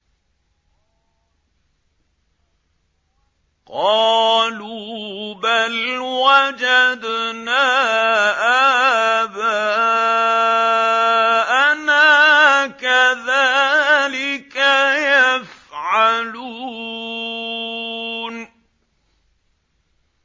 قَالُوا بَلْ وَجَدْنَا آبَاءَنَا كَذَٰلِكَ يَفْعَلُونَ